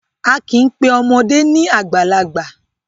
A kì í pe ọmọdé ni àgbàlagbà.